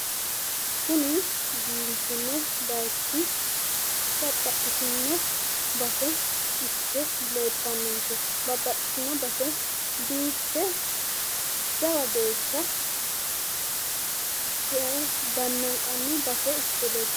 Kuni biifino bayichi mitte leeltannonke babbaxxitino base biiffe jawa geeshsha dannanqanni base ikkite leellanno.